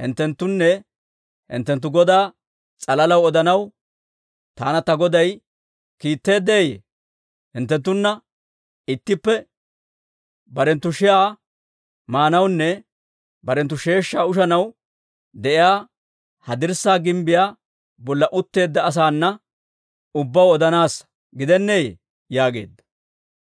hinttewunne hinttenttu godaa s'alalaw odanaw taana ta goday kiitteeddeeyye? Hinttenttunna ittippe barenttu shi'aa maanawunne barenttu sheeshshaa ushanaw de'iyaa, ha dirssaa gimbbiyaa bolla utteedda asaana ubbaw odanaassa gidenneeyye?» yaageedda.